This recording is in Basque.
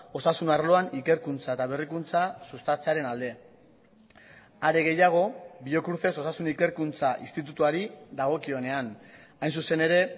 osasun arloan ikerkuntza eta berrikuntza sustatzearen alde are gehiago biocruces osasun ikerkuntza institutuari dagokionean hain zuzen ere